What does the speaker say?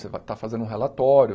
Você está fazendo um relatório.